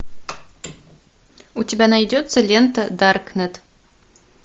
у тебя найдется лента даркнет